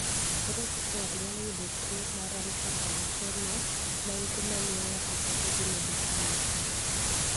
Ere kaka ng'ato nyalo yudo tuo mar alpha thalassemia ma en tuwo mamiyo ng'ato bedo gi midekre mar paro?